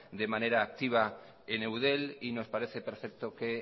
de manera activa en eudel y nos parece perfecto que